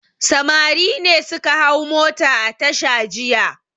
Samari ne suka hau mota a tasha jiya.